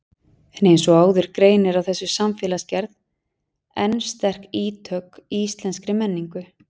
En eins og áður greinir á þessi samfélagsgerð enn sterk ítök í íslenskri menningu.